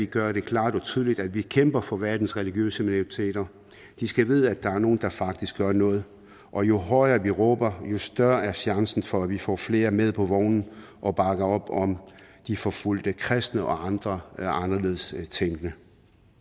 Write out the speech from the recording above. gøre det klart og tydeligt at vi kæmper for verdens religiøse minoriteter de skal vide at der er nogle der faktisk gør noget og jo højere vi råber jo større er chancen for at vi får flere med på vognen og bakker op om de forfulgte kristne og andre anderledes tænkende